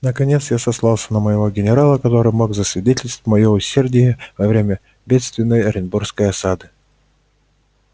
наконец я сослался и на моего генерала который мог засвидетельствовать моё усердие во время бедственной оренбургской осады